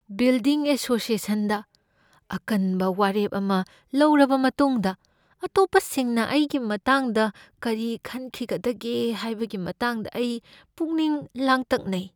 Building ꯑꯦꯁꯣꯁꯤꯌꯦꯁꯟꯗ ꯑꯀꯟꯕ ꯋꯥꯔꯦꯞ ꯑꯃ ꯂꯧꯔꯕ ꯃꯇꯨꯡꯗ ꯑꯇꯣꯞꯄꯁꯤꯡꯅ ꯑꯩꯒꯤ ꯃꯇꯥꯡꯗ ꯀꯔꯤ ꯈꯟꯈꯤꯒꯗꯒꯦ ꯍꯥꯏꯕꯒꯤ ꯃꯇꯥꯡꯗ ꯑꯩ ꯄꯨꯛꯅꯤꯡ ꯂꯥꯡꯇꯛꯅꯩ꯫